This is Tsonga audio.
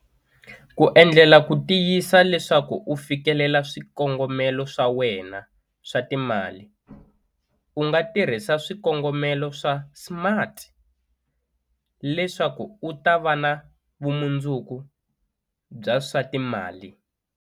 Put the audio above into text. Ku endlela ku tiyisisa leswaku u fikelela swikongomelo swa wena swa timali, u nga tirhisa swikongomelo swa SMART leswaku u ta va na vumundzuku bya swa timali.